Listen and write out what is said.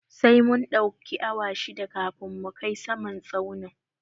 Sai mun ɗauki awa shida kafin mu kai saman tsaunin